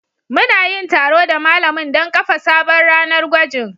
Mu na yin taro da malamin don kafa sabon ranar gwajin